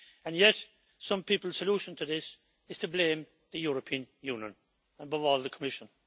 Yet some people's solution to this is to blame the European Union and, above all, the Commission.